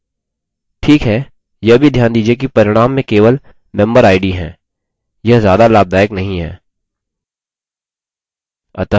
ठीक है यह भी ध्यान दीजिये कि परिणाम में केवल memberid है यह ज्यादा लाभदायक नहीं है